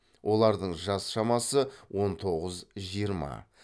олардың жас шамасы он тоғыз жиырма